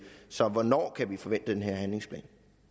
så hvornår kan vi forvente den her handlingsplan